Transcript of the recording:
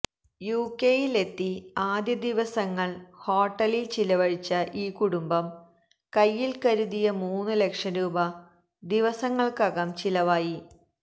യുകെയില് എത്തി ആദ്യ ദിവസങ്ങള് ഹോട്ടലില് ചിലവഴിച്ച ഈ കുടുംബം കൈയില് കരുതിയ മൂന്നു ലക്ഷം രൂപ ദിവസങ്ങള്ക്കകം ചിലവായി